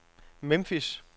Memphis